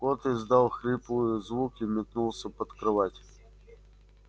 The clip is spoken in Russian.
кот издал хриплый звук и метнулся под кровать